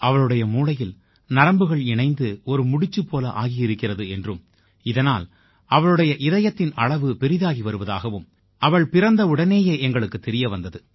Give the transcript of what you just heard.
அவளுடைய மூளையில் நரம்புகள் இணைந்து ஒரு முடிச்சுப் போல ஆகியிருக்கிறது என்றும் இதனால் அவளுடைய இதயத்தின் அளவு பெரிதாகி வருவதாகவும் அவள் பிறந்தவுடனேயே எங்களுக்குத் தெரிய வந்தது